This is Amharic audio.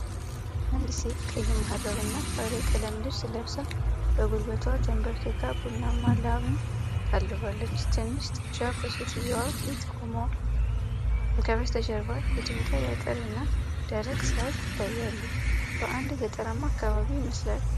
አንዲት ሴት ቀይ መሃረብና ባለቀለም ልብስ ለብሳ በጉልበቷ ተንበርክካ ቡናማ ላምን ታልባለች። ትንሽ ጥጃ በሴትየዋ ፊት ቆሟል፤ ከበስተጀርባ የድንጋይ አጥር እና ደረቅ ሣር ይታያሉ። በአንድ ገጠራማ አካባቢ ይመስላል።